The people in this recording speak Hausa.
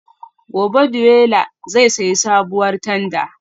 Gobe ​​Deola zai sayi sabuwar tanda